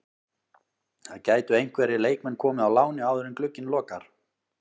Það gætu einhverjir leikmenn komið á láni áður en glugginn lokar.